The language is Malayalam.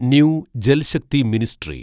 new Jal Shakti ministry